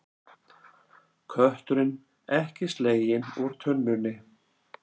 Kötturinn ekki sleginn úr tunnunni